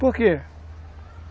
Por quê?